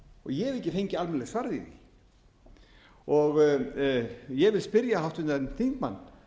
ég hef ekki fengið almennilegt svar við því ég vil spyrja háttvirtan þingmann